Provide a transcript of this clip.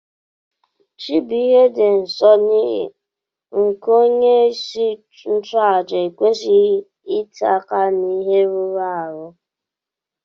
Chi bu ihe di nsọ nighi nkea onye isi nchu aja ekwesighi itinye aka na ihe rụrụ arụ.